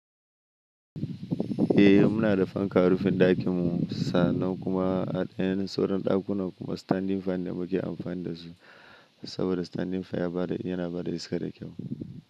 Eh muna da fanka a rufin ɗakin mu sannan kuma a ɗayan suran ɗakunan kuma standing fan da muke amfani da su. Saboda standing fan ya bada yana bada iska da kyau.